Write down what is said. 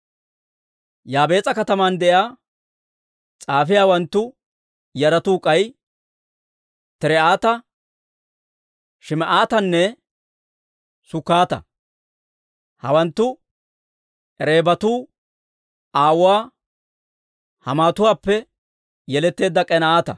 Yaabees'a kataman de'iyaa s'aafiyaawanttu yaratuu k'ay Tir"ata, Shim"aatatanne Sukkata. Hawanttu Rekaabatu aawuwaa Haamatuwaappe yeletteedda K'eenata.